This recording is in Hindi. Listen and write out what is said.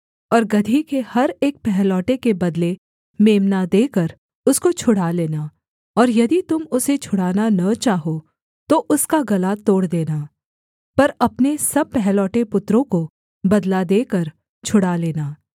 और गदही के हर एक पहलौठे के बदले मेम्ना देकर उसको छुड़ा लेना और यदि तुम उसे छुड़ाना न चाहो तो उसका गला तोड़ देना पर अपने सब पहलौठे पुत्रों को बदला देकर छुड़ा लेना